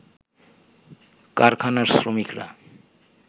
কারখানার শ্রমিকরা